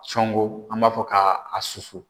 Cɔngo an b'a fɔ ka a susu.